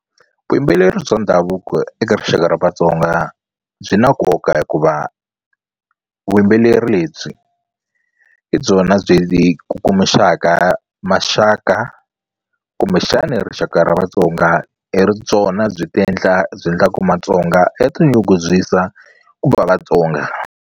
Vuyimbeleri bya ndhavuko eka rixaka ra Vatsonga byi na nkoka hikuva vuyimbeleri lebyi hi byona byi kukumuxaka maxaka kumbexani rixaka ra Vatsonga i ri byona byi ti endla byi endlaku Matsonga ya tinyungubyisa ku va Vatsonga.